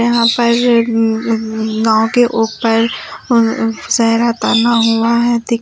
नाव के ऊपर अ-अ सेहरा तना हुआ है। दिख --